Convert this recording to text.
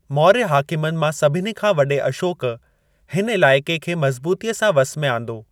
मौर्य हाकिमनि मां सभिनी खां वॾे अशोक हिन इलाइक़े खे मज़बूतीअ सा वस में आंदो।